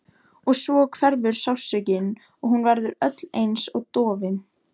Og svo hverfur sársaukinn og hún verður öll einsog dofin.